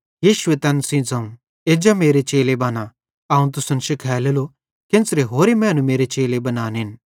यीशुए तैन सेइं ज़ोवं एज्जा मेरे चेले बना अवं तुसन शिखालेलो कि केन्च़रां होरे मैनू मेरे चेले बनानेन